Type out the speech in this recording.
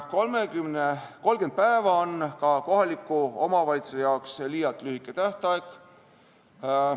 30 päeva on kohaliku omavalitsuse jaoks ka liialt lühike tähtaeg.